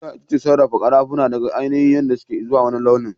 Ƙera itace sarrafa karafuna daga ainihin yadda suke izuwa wani launin.